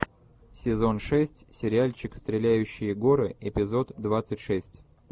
сезон шесть сериальчик стреляющие горы эпизод двадцать шесть